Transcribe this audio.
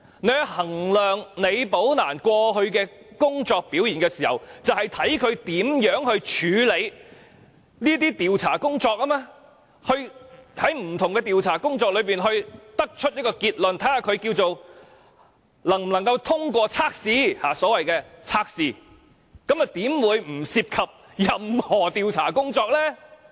在衡量李寶蘭過去的工作表現時，正是從她如何處理調查工作，就不同調查工作得出一個結論，評定她能否通過測試，那麼又怎會不涉及任何調查工作呢？